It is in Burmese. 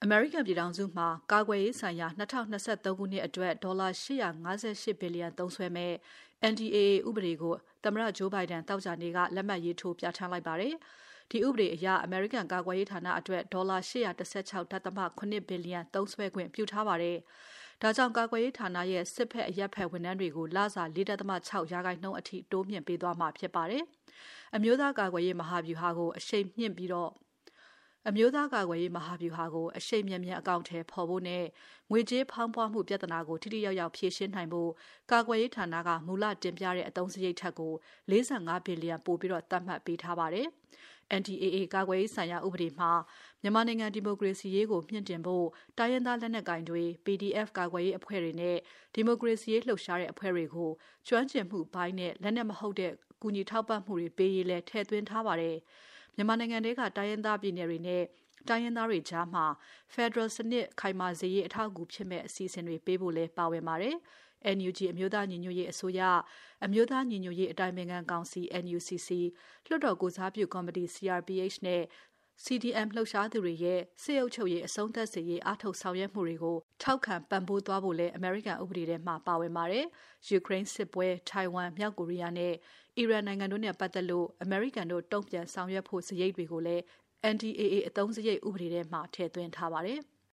မေရိကန်ပြည်ထောင်စုမှာ ကာကွယ်ရေးဆိုင်ရာ ၂၀၂၃ ခုနှစ်အတွက် ဒေါ်လာ ၈၅၈ ဘီလျံသုံးစွဲမယ့် NDAA ဥပဒေကို သမ္မတ Joe Biden သောကြာနေ့က လက်မှတ်ရေးထိုး ပြဌာန်းလိုက်ပါတယ်။ ဒီဥပဒေအရ အမေရိကန် ကာကွယ်ရေးဌာနအတွက် ဒေါ်လာ ၈၁၆.၇ ဘီလျံသုံးစွဲခွင့်ပြုထားပါတယ်။ ဒါကြောင့် ကာကွယ်ရေးဌာနရဲ့ စစ်ဘက် အရပ်ဘက် ဝန်ထမ်းတွေကို လစာ ၄.၆% အထိ တိုးမြှင့်ပေးသွားမှာ ဖြစ်ပါတယ်။ အမျိုးသားကာကွယ်ရေး မဟာဗျူဟာကို အရှိန်မြန်မြန် အကောင်အထည်ဖော်ဖို့နဲ့ ငွေကြေးဖောင်းပွမှု ပြဿနာကို ထိထိရောက်ရောက် ဖြေရှင်းနိုင်ဖို့ ကာကွယ်ရေးဌာနက မူလ တင်ပြတဲ့ အသုံးစရိတ်ထက်ကို ၄၅ ဘီလျံပိုပြီး သတ်မှတ်ပေးထားပါတယ်။ NDAA ကာကွယ်ရေးဆိုင်ရာ ဥပဒေမှာ မြန်မာနိုင်ငံ ဒီမိုကရေစီရေးကို မြှင့်တင်ဖို့ တိုင်းရင်းသားလက်နက်ကိုင်တွေ၊ PDF ကာကွယ်ရေးအဖွဲ့တွေနဲ့ ဒီမိုကရေစီရေးလှုပ်ရှားတဲ့အဖွဲ့တွေကို ကျွမ်းကျင်မှုပိုင်းနဲ့ လက်နက်မဟုတ်တဲ့ ကူညီထောက်ပံ့မှုတွေပေးရေး ထည့်သွင်းထားပါတယ်။ မြန်မာနိုင်ငံထဲက တိုင်းရင်းသားပြည်နယ်တွေနဲ့ တိုင်းရင်းသားတွေကြားမှာ ဖယ်ဒရယ်စနစ် ခိုင်မာစေရေး အထောက်အကူဖြစ်မယ့် အစီအစဉ်တွေပေးဖို့လည်း ပါဝင်ပါတယ်။ NUG အမျိုးသားညီညွတ်ရေးအစိုးရ၊ အမျိုးသားညီညွတ်ရေး အတိုင်ပင်ခံကောက်စီ NUCC၊ လွှတ်တော်ကိုယ်စားပြုကော်မတီ CRPH နဲ့ CDM လှုပ်ရှားသူတွေရဲ့ စစ်အုပ်ချုပ်ရေး အဆုံးသပ်စေရေး အားထုတ်ဆောင်ရွက်မှုတွေကို ထောက်ခံပံ့ပိုးသွားဖို့လည်း ဥပေဒထဲမှာ ပါဝင်ပါတယ်။ ယူကရိန်းစစ်ပွဲ၊ ထိုင်ဝမ်၊ မြောက်ကိုရီးယားနဲ့ အီရန်နိုင်ငံတို့နဲ့ ပတ်သက်လို့ အမေရိကန်တို့ တုံ့ပြန်ဆောင်ရွက်ဖို့ စရိတ်တွေကိုလည်း NDAA အသုံးစရိတ် ဥပဒေထဲမှာ ထည့်သွင်းထားပါတယ်။